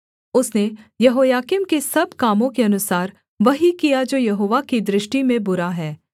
उसने यहोयाकीम के सब कामों के अनुसार वही किया जो यहोवा की दृष्टि में बुरा है